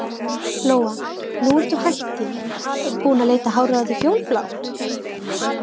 Lóa: Nú ertu hætt því, búin að lita hárið á þér fjólublátt?